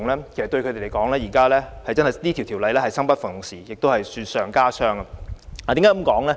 其實對他們來說，這項《條例草案》可謂生不逢時，令他們雪上加霜。